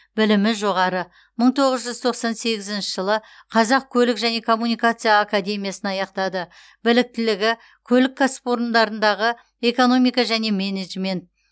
білімі жоғары мың тоғыз жүз тоқсан сегізінші жылы қазақ көлік және коммуникация академиясын аяқтады біліктігі көлік кәсіпорындарындағы экономика және менеджмент